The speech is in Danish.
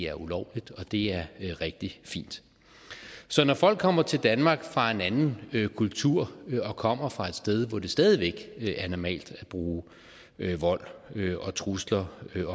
er ulovligt og det er rigtig fint så når folk kommer til danmark fra en anden kultur og kommer fra et sted hvor det stadig væk er normalt at bruge vold og trusler